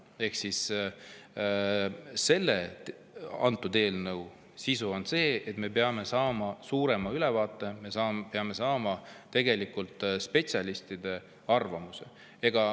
Ehk eelnõu sisu on see, et me peame saama ülevaate, me peame saama spetsialistide arvamuse.